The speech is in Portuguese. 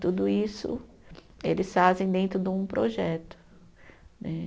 Tudo isso eles fazem dentro de um projeto né.